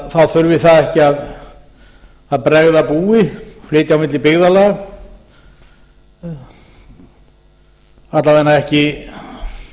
þá þurfi það ekki að bregða búi flytja á milli byggðarlaga alla vega ekki kannski